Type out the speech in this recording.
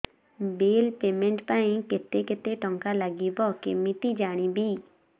bill payment ପାଇଁ କେତେ କେତେ ଟଙ୍କା ଲାଗିବ କେମିତି ଜାଣିବି